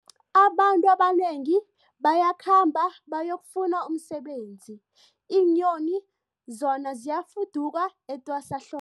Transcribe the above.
Abantu abanengi bayakhamba bayokufuna umsebenzi, iinyoni zona ziyafuduka etwasahlo